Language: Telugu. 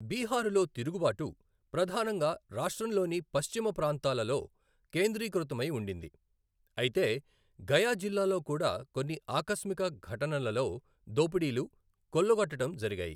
బీహారులో తిరుగుబాటు ప్రధానంగా రాష్ట్రంలోని పశ్చిమ ప్రాంతాలలో కేంద్రీకృతమై ఉండింది. అయితే, గయా జిల్లాలో కూడా కొన్నిఆకస్మిక ఘటనలలో దోపిడీలు, కొల్లగొట్టటం జరిగాయి.